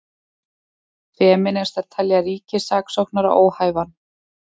Femínistar telja ríkissaksóknara óhæfan